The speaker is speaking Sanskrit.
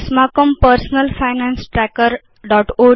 अस्माकं personal finance trackerओड्स् सञ्चिकाम् उद्घाटयाम